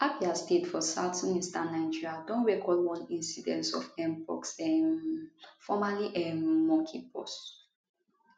abia state for southeastern nigeria don record one incident of mpox um formerly um monkeypox